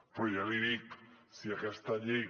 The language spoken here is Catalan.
però ja l’hi dic si aquesta llei